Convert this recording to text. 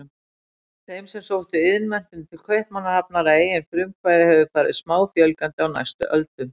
Þeim sem sóttu iðnmenntun til Kaupmannahafnar að eigin frumkvæði hefur farið smáfjölgandi á næstu öldum.